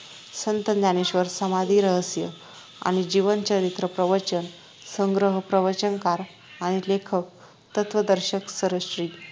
संत ज्ञानेश्वर समाधी रहस्य आणि जीवन चरित्र प्रवचन संग्रह प्रवचनकार आणि लेखक तत्वदर्शक सरश्री